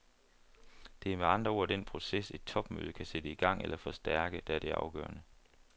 Det er med andre ord den proces, et topmøde kan sætte i gang eller forstærke, der er det afgørende.